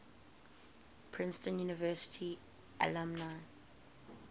princeton university alumni